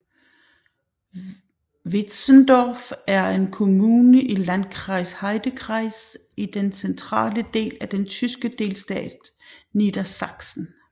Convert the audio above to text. Wietzendorf er en kommune i Landkreis Heidekreis i den centrale del af den tyske delstat Niedersachsen